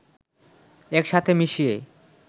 একসাথে মিশিয়ে